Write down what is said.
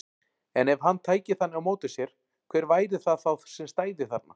En ef hann tæki þannig á móti sér, hver væri það þá sem stæði þarna?